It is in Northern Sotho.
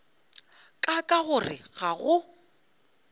ka ka gore ga go